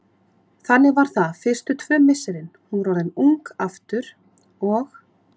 Þannig var það fyrstu tvö misserin: hún var orðin ung aftur, og